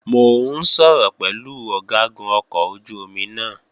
Mò ń sọ̀rọ̀ pẹ̀lú Ọ̀gágun ọkọ̀ ojú-omi náà